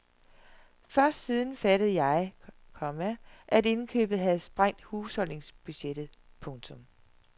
Først siden fattede jeg, komma at indkøbet havde sprængt husholdningsbudgettet. punktum